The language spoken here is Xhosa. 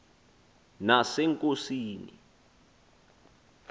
nasenkosini